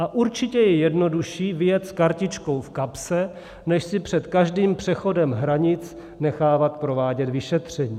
A určitě je jednodušší vyjet s kartičkou v kapse, než si před každým přechodem hranic nechávat provádět vyšetření.